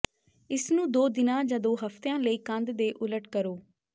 ਇਸਨੂੰ ਦੋ ਦਿਨਾਂ ਜਾਂ ਦੋ ਹਫਤਿਆਂ ਲਈ ਕੰਧ ਦੇ ਉਲਟ ਕਰੋ